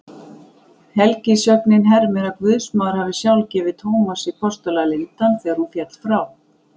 Helgisögnin hermir að guðsmóðir hafi sjálf gefið Tómasi postula lindann þegar hún féll frá.